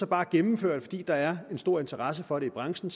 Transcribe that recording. bare at gennemføre det fordi der er en stor interesse for det i branchen